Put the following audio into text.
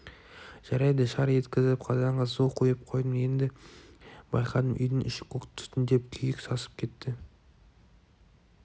жарайды шар еткізіп қазанға су құйып қойдым енді байқадым үйдің іші көк түтінденіп күйік сасып кетіпті